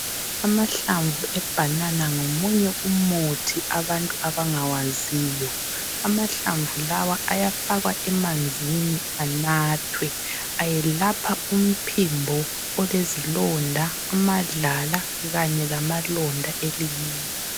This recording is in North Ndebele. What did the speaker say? Amahlamvu ebhanana ngomunye umuthi abantu abangawaziyo. Amahlamvu lawa ayafakwa emanzini anathwe. Ayelapha umphimbo olezilonda, amadlala Kanye lamalonda elimini.